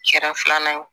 Kɛra filanan ye o